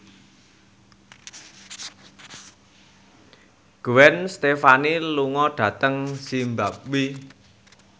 Gwen Stefani lunga dhateng zimbabwe